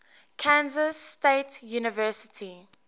kansas state university